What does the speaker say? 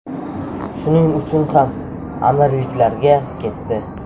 Shuning uchun ham Amirliklarga ketdi.